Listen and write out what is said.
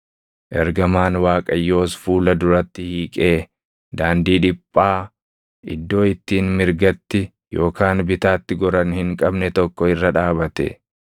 Ergamaan Waaqayyoos fuula duratti hiiqee daandii dhiphaa iddoo ittiin mirgatti yookaan bitaatti goran hin qabne tokko irra dhaabate.